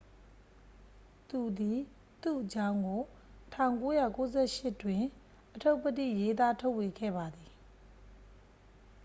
သူသည် သူ့အကြောင်းကို 1998 တွင် အတ္ထုပ္တိရေးသားထုတ်ဝေခဲ့ပါသည်